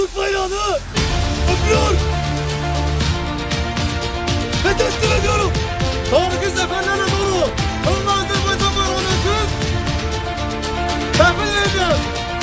Şanlı Türk bayrağını əbədiyyətlə daşımaq, zəfərlər əldə etmək.